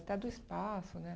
Até do espaço, né?